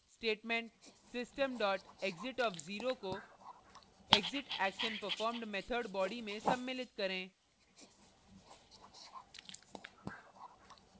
statement system exit 0; को exitactionperformed method body में सम्मिलित करें